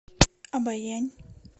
обоянь